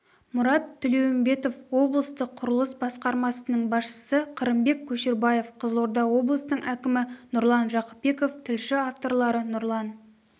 мұрат тілеумбетов облыстық құрылыс басқармасының басшысы қырымбек көшербаев қызылорда облысының әкімі нұрлан жақыпбеков тілші авторлары нұрлан